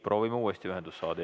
Proovime uuesti ühendust saada.